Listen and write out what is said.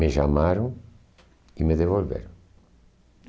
Me chamaram e me devolveram.